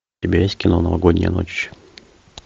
у тебя есть кино новогодняя ночь